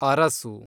Arasu